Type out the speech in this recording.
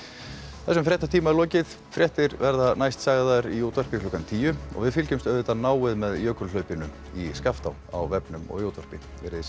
þessum fréttatíma er lokið fréttir verða næst sagðar í útvarpi klukkan tíu við fylgjumst auðvitað náið með jökulhlaupinu í Skaftá á og í útvarpi verið þið sæl